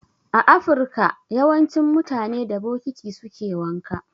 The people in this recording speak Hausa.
A afirka yawancin mutane da bokiti suke wanka